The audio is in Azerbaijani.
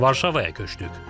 Varşavaya köçdük.